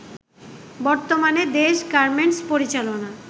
বর্তমানে দেশ গার্মেন্টস পরিচালনার